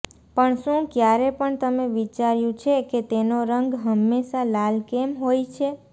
પણ શું ક્યારે પણ તમે વિચાર્યું છે કે તેનો રંગ હંમેશા લાલ કેમ હોય છે